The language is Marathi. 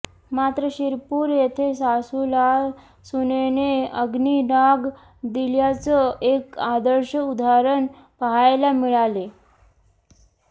मात्र शिरपूर येथे सासूला सुनेने अग्नीडाग दिल्याचं एक आदर्श उदाहरण पहायला मिळाले